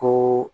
Ko